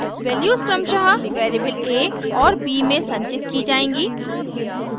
values क्रमशः variable a और b में संचित की जाएँगी